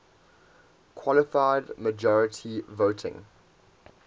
qualified majority voting